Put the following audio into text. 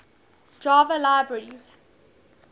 java libraries